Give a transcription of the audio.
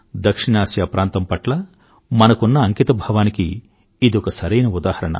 దక్షిణఆసియా ప్రాంతం పట్ల మనకున్న అంకితభావానికి ఇదొక సరైన ఉదాహరణ